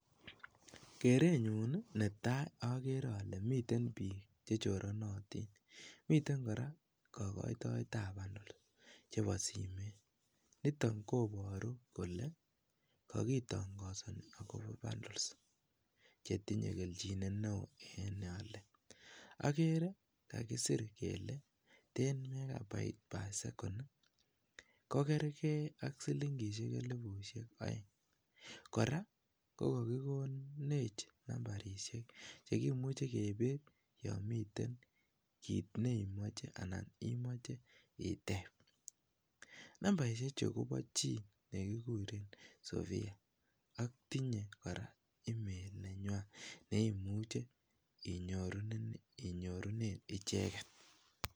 Kerenyun netaa okere olee miten biik chechoronotin, miten kora kokoitoetab bandols chebo simoit, nitok koboru kolee kokitong'osoni akobo bandols chetinye kelchinet neoo en neole, okere kakisiir kelee ten megabite per second ko kerkee siling'ishek elibushek oeng, kora ko kokikonech nambarishek chekimuche kebir yomiten kiit neimoche anan imoche iteb, nambaishechu kobo chii nekikuren sopia ak tinye kora email nenywan neimuche inyorunen icheket.